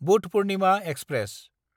Buddha Purnima express